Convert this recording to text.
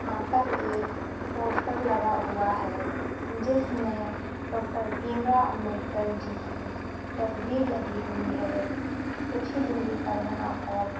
यहाँ पर एक पोस्टर लगा हुआ है जिसमें डॉक्टर भीम राव अंबेडकर जी की तस्वीर लगी हुई है कुछ ही दूरी पर यहाँ पर --